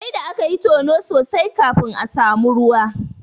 Sai da akayi tono sosai kafin aka samu ruwa.